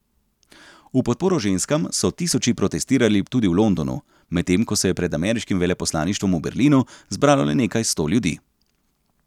V podporo ženskam so tisoči protestirali tudi v Londonu, medtem ko se je pred ameriškim veleposlaništvom v Berlinu zbralo le nekaj sto ljudi.